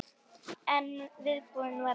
En viðbúin var ég ekki.